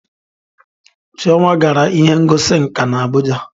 Chioma gara ihe ngosi nka na Abuja